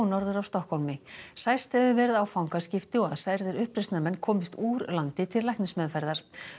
norður af Stokkhólmi sæst hefur verið á fangaskipti og að særðir uppreisnarmenn komist úr landi til læknismeðferðar